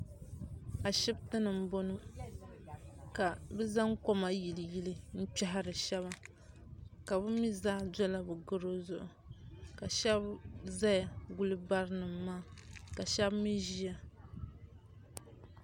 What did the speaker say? Ashibiti ni m-bɔŋɔ ka zaŋ koma yiliyili m-kpɛhiri shɛba ka bɛ mi zaa dola garo zuɣu ka shɛba zaya guli ba barinima maa ka shɛba mi ʒiya.